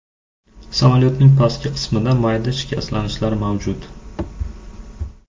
Samolyotning pastki qismida mayda shikastlanishlar mavjud.